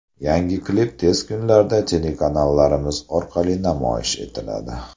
Yangi klip tez kunlarda telekanallarimiz orqali namoyish etiladi.